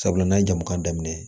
Sabula n'an ye jama ka daminɛ